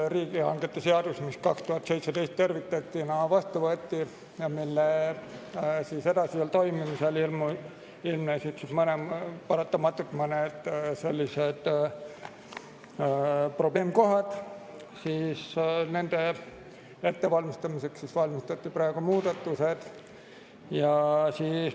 Riigihangete seadus võeti 2017 terviktekstina vastu, selle edasisel toimimisel ilmnesid mõned sellised probleemkohad, mille tõttu valmistati praegu ette muudatused.